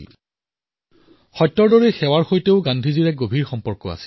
সত্যৰ সৈতে গান্ধীৰ যি অটুট সম্বন্ধ সেৱাৰ সৈতেও গান্ধীৰ সিমানেই অটুট সম্বন্ধ আছে